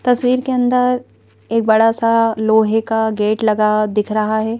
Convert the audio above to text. तस्वीर के अंदर एक बड़ा सा लोहे का गेट लगा दिख रहा है।